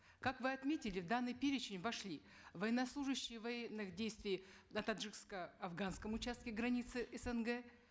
как вы отметили в данный перечень вошли военнослужащие военных действий на таджикско афганском участке границы снг